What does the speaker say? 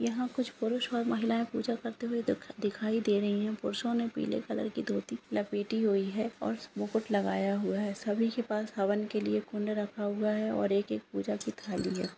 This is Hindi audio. पुरस ओर महिलाए पूजा करते हुए दिख-दिखाई दे रहे हैं पुरुसो ने पीले कलर कि धोती लपेटी हुई है ओर मुकुट लगाया हुआ है ओर सभी के पास हवन के लिए कुंड रखा हुआ ओर एक एक पूजा--